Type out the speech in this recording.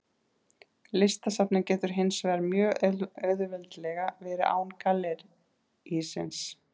Listasafnið getur hins vegar mjög auðveldlega verið án gallerísins.